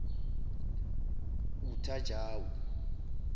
uthajawo